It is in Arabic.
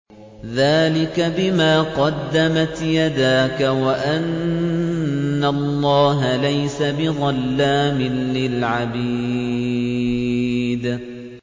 ذَٰلِكَ بِمَا قَدَّمَتْ يَدَاكَ وَأَنَّ اللَّهَ لَيْسَ بِظَلَّامٍ لِّلْعَبِيدِ